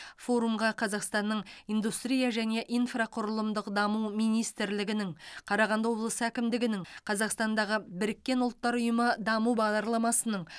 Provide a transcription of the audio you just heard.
форумға қазақстанның индустрия және инфрақұрылымдық даму министрлігінің қарағанды облысы әкімдігінің қазақстандағы біріккен ұлттар ұйымы даму бағдарламасының